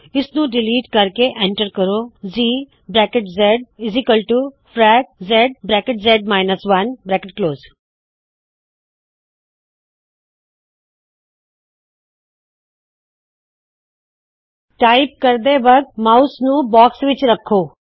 ਇਸ ਨੂੰ ਡਿਲੀਟ ਕਰਕੇ ਐਂਟਰ ਕਰੋ G frac zz 1 ਟਾਇਪ ਕਰਦੇ ਵਕਤ ਮਾਉਸ ਨੂੰ ਬਾਕਸ ਵਿੱਚ ਰੱਖੋ